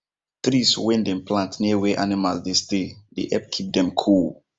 trees wen dem plant near where animal dey stay they help keep them cool